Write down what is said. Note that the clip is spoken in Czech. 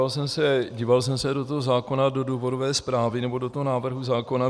Ale díval jsem se do toho zákona, do důvodové zprávy, nebo do toho návrhu zákona.